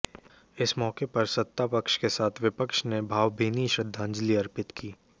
इस मौके पर सत्ता पक्ष के साथ विपक्ष ने भावभीनी श्रद्धांजलि अर्पित की